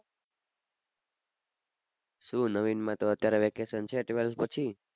શું નવીન માં અત્યારે તો vacation છે twelfth પછી.